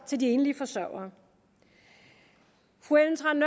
til de enlige forsørgere fru ellen trane